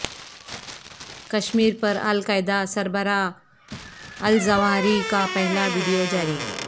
کشمیر پر القاعدہ سربراہ الظواہری کا پہلا ویڈیو جاری